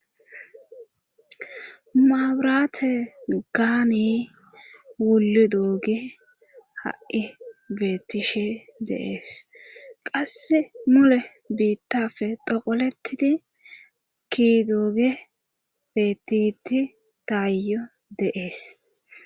maabraate gaani wulu doogi ha7i beettishe deees qasse mule biittafe doqolettidi ki dooge beettiti taayo deees